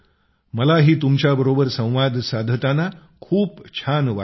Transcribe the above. मलाही तुमच्याबरोबर संवाद साधताना खूप छान वाटेल